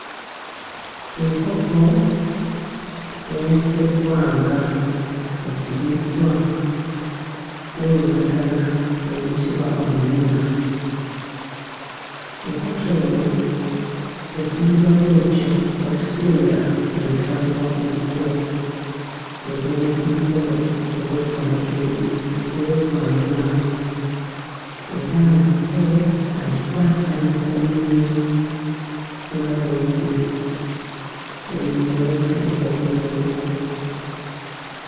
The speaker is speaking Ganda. Enkoko eya sseggwanga esibiddwa n'olulagala oluyitibwa oluyina. Enkoko eno esibibwa bw'etyo okusinga ng'etwalibwa ku buko egenda ku mukolo ogw'okwanjulu ogw'okwanjula era omuko agikwasa omuko munne nga bw'eri, eyo gye bayita enkoko y'obuko.